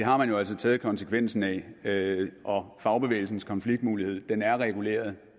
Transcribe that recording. har man jo altså taget konsekvensen af og fagbevægelsens konfliktmulighed er reguleret